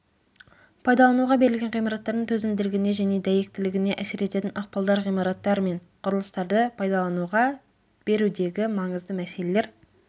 пайдалануға берілген ғимараттардың төзімділігіне және дәйектілігіне әсер ететін ықпалдар ғимараттар мен құрылыстарды пайдалануға берудегі маңызды мәселелер